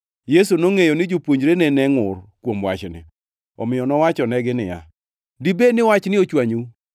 Yesu nongʼeyo ni jopuonjrene ne ngʼur kuom wachni, omiyo nowachonegi niya, “Dibed ni wachni ochwanyou?